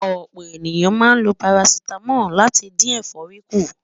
ọ̀pọ̀ ènìyàn máa ń ló paracetamol láti dín éfòrí kù